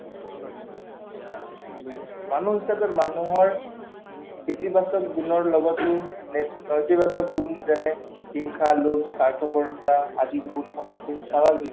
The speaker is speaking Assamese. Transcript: বুজিছো, মানুহ হিচাপে মানুহৰ ইতিবাচক গুণৰ লগতে নেতিবাচক গুণ যেনে হিংসা, লোভ, স্বাৰ্থপৰতা আদি গুণ থকাটো স্বাভাৱিক